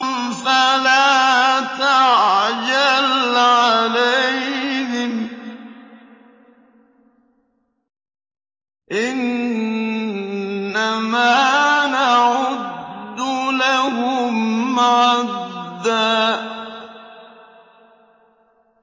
فَلَا تَعْجَلْ عَلَيْهِمْ ۖ إِنَّمَا نَعُدُّ لَهُمْ عَدًّا